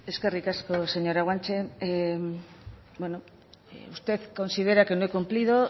eskerrik asko señora guanche usted considera que no he cumplido